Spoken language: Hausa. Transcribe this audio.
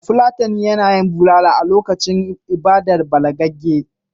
Bafulatani na yin bulala a lokacin ibadar balagagge.